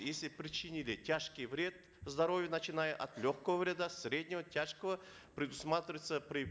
если причинили тяжкий вред здоровью начиная от легкого вреда среднего тяжкого предусматривается при